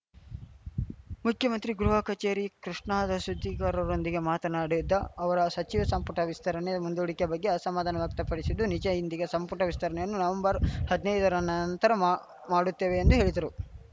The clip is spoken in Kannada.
ಮುಖ್ಯಮಂತ್ರಿ ಗೃಹ ಕಚೇರಿ ಕೃಷ್ಣಾದ ಸುದ್ದಿಗಾರರೊಂದಿಗೆ ಮಾತನಾಡಿದ ಅವರು ಸಚಿವ ಸಂಪುಟ ವಿಸ್ತರಣೆ ಮುಂದೂಡಿಕೆ ಬಗ್ಗೆ ಅಸಮಾಧಾನ ವ್ಯಕ್ತಪಡಿಸಿದ್ದು ನಿಜ ಇಂದಿಗೆ ಸಂಪುಟ ವಿಸ್ತರಣೆಯನ್ನು ನವೆಂಬರ್‌ ಹದ್ನೈದರ ನಂತರ ಮಾ ಮಾಡುತ್ತೇವೆ ಎಂದು ಹೇಳಿದರು